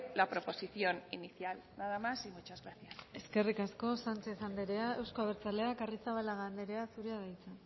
la proposición inicial nada más y muchas gracias eskerrik asko sánchez andrea euzko abertzaleak arrizabalaga andrea zurea da hitza